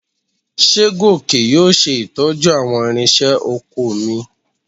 Ṣé Gòkè yóò ṣe ìtọ́jú àwọn ìrinṣẹ́ oko mi?